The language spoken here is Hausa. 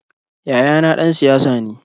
Yayana ɗan siyasa ne.